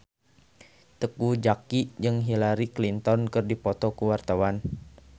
Teuku Zacky jeung Hillary Clinton keur dipoto ku wartawan